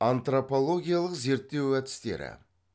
антропологиялық зерттеу әдістері